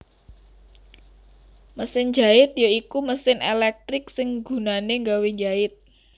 Mesin jait ya iku mesin elektrik sing gunané gawé njait